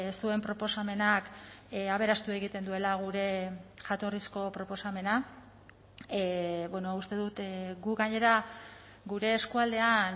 zuen proposamenak aberastu egiten duela gure jatorrizko proposamena uste dut gu gainera gure eskualdean